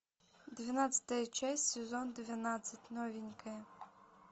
двенадцатая часть сезон двенадцать новенькая